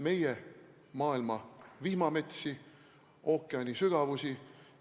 Meie maailma vihmametsi, ookeanisügavusi